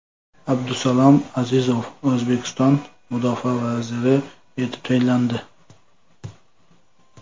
Abdusalom Azizov O‘zbekiston mudofaa vaziri etib tayinlandi.